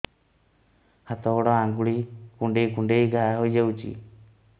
ହାତ ଗୋଡ଼ ଆଂଗୁଳି କୁଂଡେଇ କୁଂଡେଇ ଘାଆ ହୋଇଯାଉଛି